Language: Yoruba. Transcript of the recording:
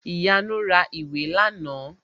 Ìyanu ra ìwé làná